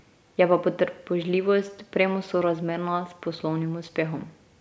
Je pa potrpežljivost premosorazmerna s poslovnim uspehom.